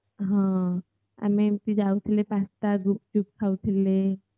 ଆମେ ଏମିତି ଯାଉଥିଲେ pasta ଗୁପୁଚୁପ ଖାଉଥିଲେ